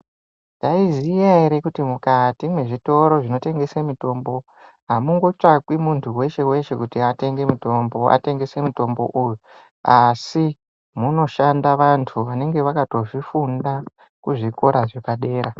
Taiziya ere kuti mukati mwe zvitoro zvino tengese mitombo amungo tsvakwi muntu weshe weshe kuti atenge mutombo atengese mutombo uyu asi muno shanda vantu vanenge vakato zvifunda ku zvikora zvepa dera.